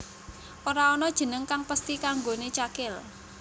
Ora ana jeneng kang pesthi kanggoné Cakil